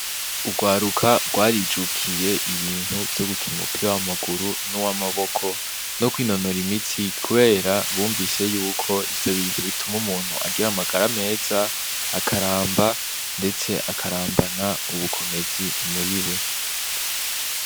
Urwaruka rwarijukiye ibintu vyo gukina umupira w'amaguru nuwa amakobo no kwinonora imitsi kubera bumvise yuko ivyo bintu bituma umuntu agira amagara meza akaramba ndetse akarambana ubukomezi muri we.